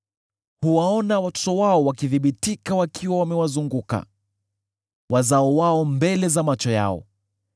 Huwaona watoto wao wakithibitika wakiwa wamewazunguka, wazao wao mbele za macho yao.